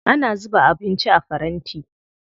Ana zuba abinci a faranti.